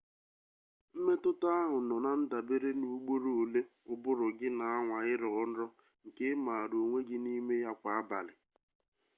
mmetụta ahụ nọ na ndabere n'ugboro ole ụbụrụ gị na-anwa ịrọ nrọ nke ị mara onwe gị n'ime ya kwa abalị